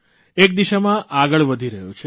એક દિશામાં આગળ વધી રહ્યો છે